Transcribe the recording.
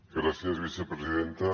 gràcies vicepresidenta